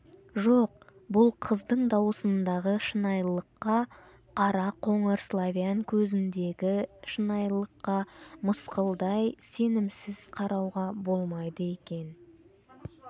жоқ бұл қыздың даусындағы шынайылыққа қара-қоңыр славян көзіндегі шынайылыққа мысқалдай сенімсіз қарауға болмайды екен